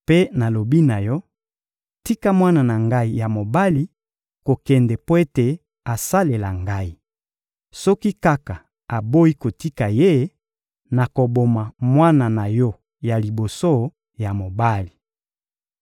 Mpe nalobi na yo: Tika mwana na Ngai ya mobali kokende mpo ete asalela Ngai. Soki kaka oboyi kotika ye, nakoboma mwana na yo ya liboso ya mobali.›»